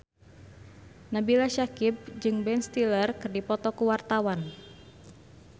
Nabila Syakieb jeung Ben Stiller keur dipoto ku wartawan